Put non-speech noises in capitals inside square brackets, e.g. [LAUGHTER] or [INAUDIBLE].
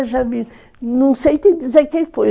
[UNINTELLIGIBLE] Não sei te dizer quem foi.